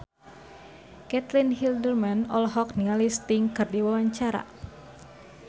Caitlin Halderman olohok ningali Sting keur diwawancara